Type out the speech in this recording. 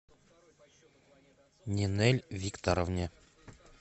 нинель викторовне